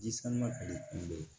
Ji sama ka di kunbɛ